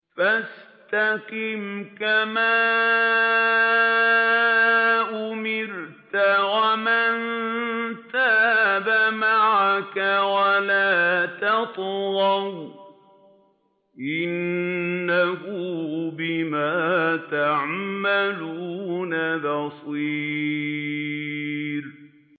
فَاسْتَقِمْ كَمَا أُمِرْتَ وَمَن تَابَ مَعَكَ وَلَا تَطْغَوْا ۚ إِنَّهُ بِمَا تَعْمَلُونَ بَصِيرٌ